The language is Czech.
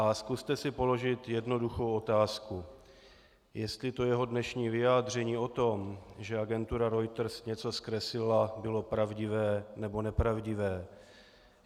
A zkuste si položit jednoduchou otázku - jestli to jeho dnešní vyjádření o tom, že agentura Reuters něco zkreslila, bylo pravdivé, nebo nepravdivé.